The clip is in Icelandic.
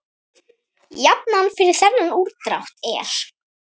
Jafnan fyrir þennan útdrátt er